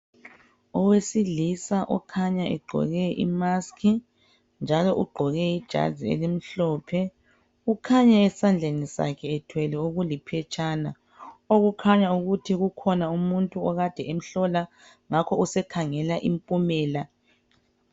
Owesilisa okhanya egqoke imaski njalo ugqoke ijazi elimhlophe kukhanya esandleni sakhe ephethe okuliphetshana okukhanya ukuthi kukhona umuntu akade emhlola usekhangela impumela.